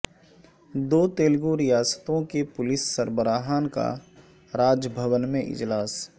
دو تلگوریاستوں کے پولیس سربراہان کا راج بھون میں اجلاس